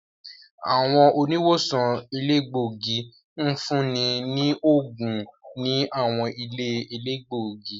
Àwọn oniwosan elegbogi ǹfuni ni óogun ni àwọn ìlé-elegbogi.